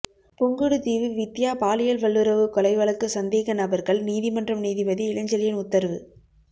புங்குடுதீவு வித்தியா பாலியல் வல்லுறவு கொலை வழக்கு சந்தேக நபர்கள் நீதிமன்றம் நீதிபதி இளஞ்செழியன் உத்தரவு